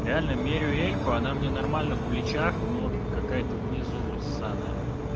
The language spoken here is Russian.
реально мерю эльку она мне нормально в плечах но какая-то внизу ссаная